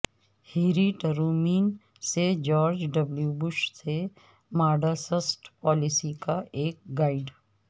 Harry Truman سے George W Bush سے Mideast policy کا ایک گائیڈ